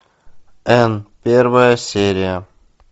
энн первая серия